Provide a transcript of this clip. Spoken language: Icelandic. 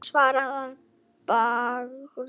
Hann svaraði að bragði.